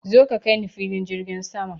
Zo ka kaini filin jirgin sama!